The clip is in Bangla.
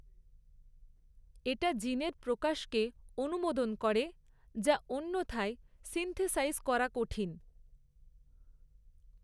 এটা জিনের প্রকাশকে অনুমোদন করে, যা অন্যথায় সিন্থেসাইজ করা কঠিন।